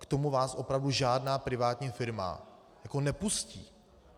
K tomu vás opravdu žádná privátní firma nepustí.